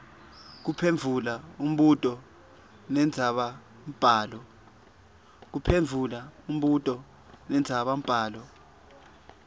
kuphendvula umbuto wendzabambhalo